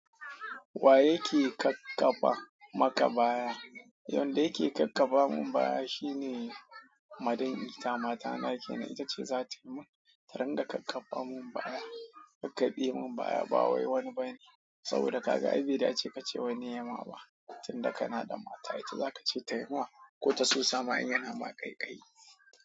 Wa yake ƙaƙƙaba maka baya? Wanda yake ƙaƙƙaba mun baya shi ne Madami ita mata na ake na ita ce za ta mun, ta ranga ƙaƙƙaba mun baya, ƙaƙaɓe mun baya ba wai wani ba ne. Saboda kaka Abida ya ce ka ce wa ni ya ma ba, tun da kana da mata ita za ka ce ta yi ma, ko ta so sama in yana ma kai ƙai.